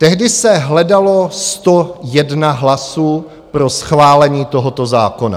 Tehdy se hledalo 101 hlasů pro schválení tohoto zákona.